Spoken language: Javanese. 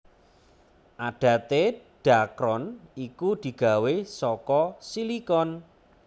Adaté dhakron iku digawé saka silikon